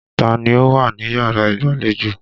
Ta ni ó wà níyàrá ìgbàlejò?